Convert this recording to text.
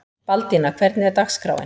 Baldína, hvernig er dagskráin?